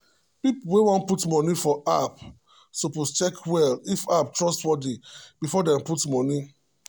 people wey wan put money for app suppose check well if app trustworthy before dem put money.